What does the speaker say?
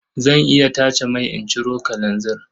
Zan iya tace mai in ciro kalanzir.